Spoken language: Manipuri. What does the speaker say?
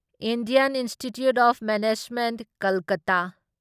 Indian institute of management Kolkata